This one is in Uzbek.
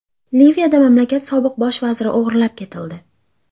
Liviyada mamlakat sobiq bosh vaziri o‘g‘irlab ketildi.